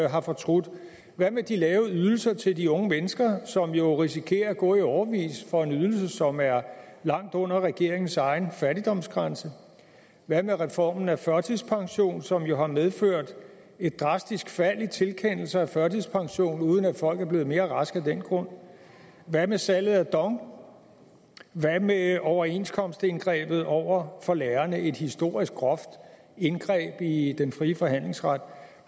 har fortrudt hvad med de lave ydelser til de unge mennesker som jo risikerer at gå i årevis for en ydelse som er langt under regeringens egen fattigdomsgrænse hvad med reformen af førtidspensionen som jo har medført et drastisk fald i tilkendelser af førtidspension uden at folk er blevet mere raske af den grund hvad med salget af dong hvad med overenskomstindgrebet over for lærerne et historisk groft indgreb i den frie forhandlingsret